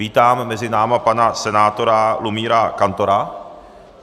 Vítám mezi námi pana senátora Lumíra Kantora.